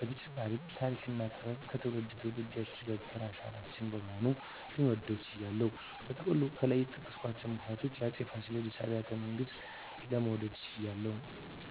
በተጨማሪም ተሪክና ጥበብን ከትውልድ ትውልድ ያሸጋገረ አሻራችን በመሆኑ ልወደው ችያለሁ። በጥቅሉ ከላይ በጠቀስኳቸው ምክንያቶች የአፄ ፋሲለደስ አብያተ ቤተመንግስትን ለመውደድ ችያለሁ